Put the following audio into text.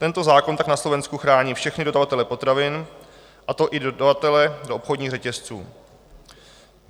Tento zákon tak na Slovensku chrání všechny dodavatele potravin, a to i dodavatele do obchodních řetězců.